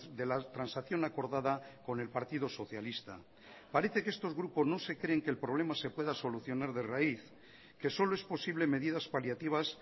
de la transacción acordada con el partido socialista parece que estos grupos no se creen que el problema se pueda solucionar de raíz que solo es posible medidas paliativas